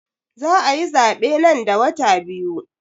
Za ayi zaɓe nan da wata biyu